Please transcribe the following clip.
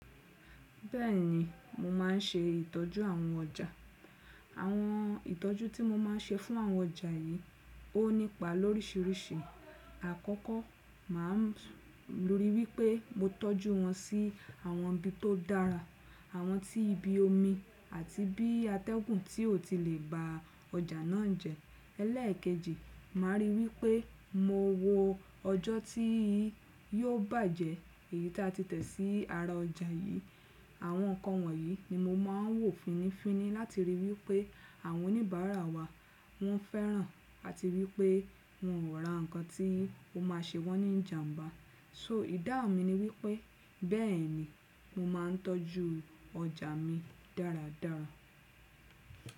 Bẹ́ẹ̀ni, mo máà ń ṣe ìtọ́jú àwọn ọjà. Àwọn ìtọ́jú tí mo máa ń ṣe fún àwọn ọjà yìí ó nípa lórísìírísìí. Àkọ́kọ́, mà á rí i wí pé mo tọ́jú wọn sí àwọn ibi tó dára. Àwọn tí ibi omi àti bí atẹ́gùn tí ò ti lè ba ọjà náà jẹ. Ẹlẹ́ẹ̀kejì, mà á rí i wí pé mo wo ọjọ́ tí yóò bàjẹ́ èyí tí a ti tẹ̀ sí ara ọjà yìí. Àwọn nǹkan wọ̀nyí ni mo máa ń wò fínífíní láti rí i wí pé àwọn oníbàárà wa wọ́n fẹ́ràn àti wí pé wọn ò ra nǹkan tí ó máa ṣe wọ́n ní ìjàǹbá. So, ìdáhùn mi ni wípé bẹ́ẹ̀ni mo máa ń tọ́jú ọjà mi dáradára.